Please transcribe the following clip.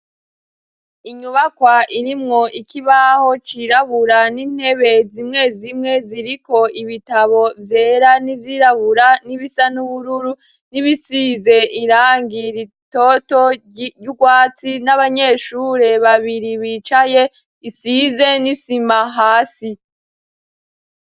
Inyubakwa irimwo ikibaho cirabura n'intebe zimwe zimwe ziriko ibitabo vyera n'ivyirabura n'ibisa, n'ubururu n'ibisize irangi ritoto ry'urwatsi n'abanyeshure babiri bicaye, isize n'isima hasi.